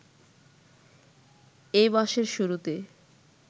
এ মাসের শুরুতে